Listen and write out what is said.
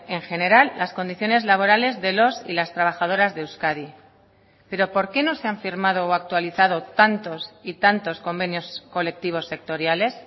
en general las condiciones laborales de los y las trabajadoras de euskadi pero por qué no se han firmado o actualizado tantos y tantos convenios colectivos sectoriales